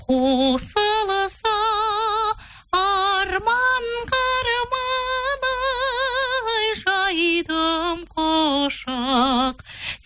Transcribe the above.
қосылса арманға арман ай жайдым құшақ